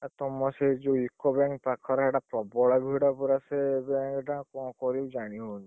ଆଉ ତମର ସେଇ ଯୋଉ UCO bank ପାଖରେ ସେଇଟା ପ୍ରବଳ ଭିଡ ପରା ସେ bank ଟା କଣ କରିବି ଜାଣିହଉନି।